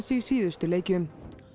í síðustu leikjum